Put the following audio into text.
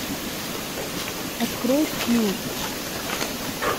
открой пил